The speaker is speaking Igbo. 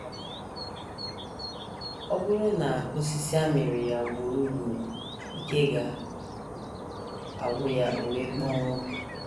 Ọ bụrụ na osisi amịrị ya ugboro ugboro, ike ga - agwụ ya o wee kpọnwụọ.